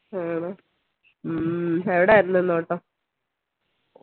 ഹും എവിടെയായിരുന്നു ഇന്ന് ഓട്ടം